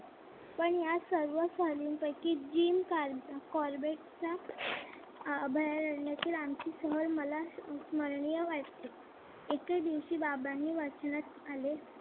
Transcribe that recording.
पण या सर्व सहलींपैकी जिम कॉर्बेट च्या अभयारण्यातील आमची सहल मला स्मरणीय वाटते. एके दिवशी बाबांनी वाचनात आले.